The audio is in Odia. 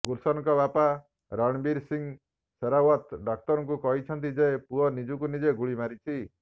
ଗୁଲସନଙ୍କ ବାପା ରଣବୀର ସିଂହ ସେହରାଓ୍ବତ୍ ଡାକ୍ତରଙ୍କୁ କହିଛନ୍ତି ଯେ ପୁଅ ନିଜକୁ ନିଜେ ଗୁଳି ମାରିଛି